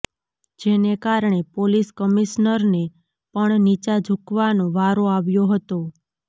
જેને કારણે પોલીસ કમિશનરને પણ નીચા ઝુકવાનો વારો આવ્યો હતો